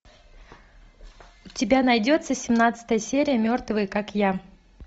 у тебя найдется семнадцатая серия мертвые как я